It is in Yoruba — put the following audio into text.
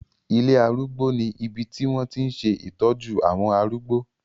Ilé arúgbó ní ibi tí wọ́n tí ń ṣe ìtọ́jú àwọn arúgbó.